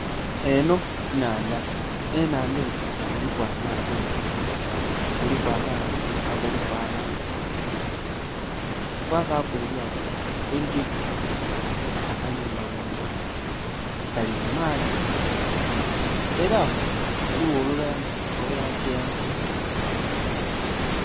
Enho nnhandha, enhandha enho eriku amaato, kuliku amaato agaliku abantu kwabaku elyato eririku akayumba ghangulu, gali mu maadhi era ghaligho olulangi olwa kyenvu.